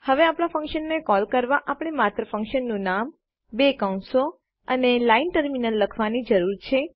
હવે આપણા ફંક્શનને કોલ કરવા આપણને માત્ર ફંક્શનનું નામબે કૌંસો અને લાઈન ટર્મિનેટર લખવાની જરૂર છે